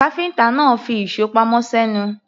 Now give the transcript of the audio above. Káfíńtà náà fi ìṣó pamọ́ sẹ́nu.